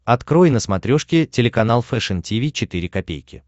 открой на смотрешке телеканал фэшн ти ви четыре ка